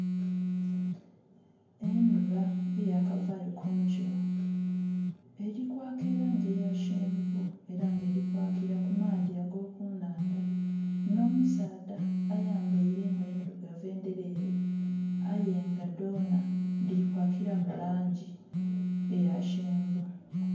Endhuba eya kavayo kunkyo eri kwaka elangi eyakyenvu era nga eri kwakira ku maadhi ago kunhandha, nho musaadha ayambeire engoye endhirugavu endherere aye nga dhonha dhiri kwakiramu langi eya kyenvu.